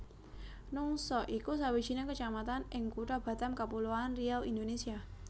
Nongsa iku sawijining kecamatan ing Kutha Batam Kapuloan Riau Indonésia